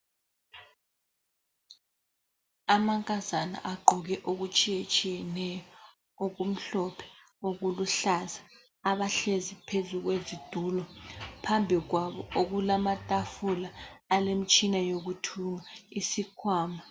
Amankazana agqoke okutshiyetshiyeneyo okumhlophe okuluhlaza abahlezi phezu kwezitulo, phambi kwabo okulamatafula alemitshina yokuthunga isikhwama.